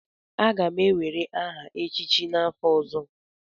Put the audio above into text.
Aga m ewere aha echịchị n'afọ ọzọ.